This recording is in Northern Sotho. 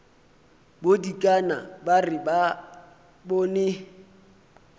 bodikana ba re ba bone